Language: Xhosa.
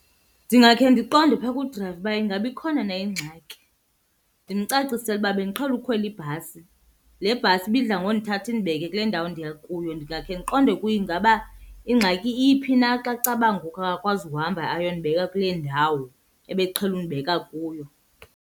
Ndingakhe ndiqonde phaa kudrayiva uba ingaba ikhona na ingxaki. Ndimcacisele uba bendiqhele ukhwela ibhasi, le bhasi ibidla ngondithatha indibeke kule ndawo ndiya kuyo. Ndingakhe ndiqonde kuye ingaba ingxaki iphi na xa caba ngoku akakwazi ukuhamba ayondibeka kule ndawo ebeqhele undibeka kuyo.